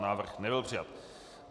Návrh nebyl přijat.